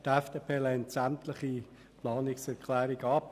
Die FDP lehnt sämtliche Planungserklärungen ab.